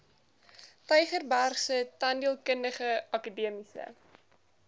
tygerbergse tandheelkundige akademiese